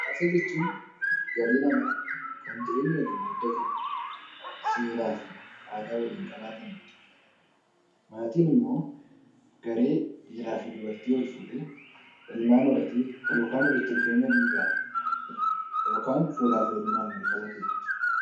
Hawaasa jechuun garee namaa kan jireenya waliin qooddatan seeraa fi aadaa waliin qabaatanidha. Maatiin immoo garee dhiiraa fi dubartii wal fuudhee ilmaan horatee yookaan walitti dhufeenya dhiigaan yookaan fuudhaa fi heerumaan wal qabatedha.